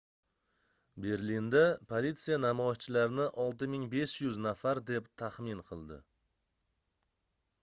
berlinda politsiya namoyishchilarni 6500 nafar deb taxmin qildi